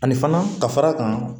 Ani fana ka fara kan